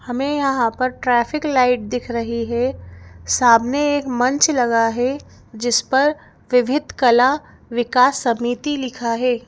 हमें यहाँ पर ट्रैफिक लाइट दिख रही है सामने एक मंच लगा है जिस पर विविध कला विकास समिति लिखा है।